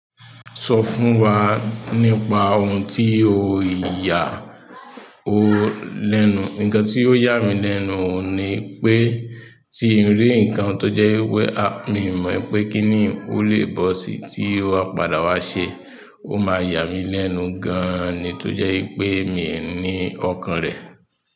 Sọ fún wa nípa ohun tí o ya ọ lẹ́nu. Nǹkan tí ó ya mí lẹ́nu oun ni pé tí n rí ǹkan tó jẹ́ wẹ́ ah! Mi ò mọ̀ pé kí ni ó lè bọ́ sí tí ó padà wá ṣe. Ó máa yà mí lẹ́nu gan an ni tó jẹ́ wi pé mi ò ní ọkàn rẹ̀.